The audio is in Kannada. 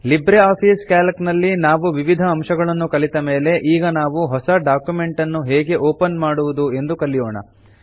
ಲಿಬ್ರೆ ಆಫೀಸ್ ಕ್ಯಾಲ್ಕ್ ನಲ್ಲಿ ನಾವು ವಿವಿಧ ಅಂಶಗಳನ್ನು ಕಲಿತ ಮೇಲೆ ಈಗ ನಾವು ಹೊಸ ಡಾಕ್ಯುಮೆಂಟ್ ನ್ನು ಹೇಗೆ ಓಪನ್ ಮಾಡುವುದು ಎಂದು ಕಲಿಯೋಣ